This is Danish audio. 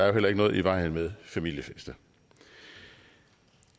jo heller ikke noget i vejen med familiefester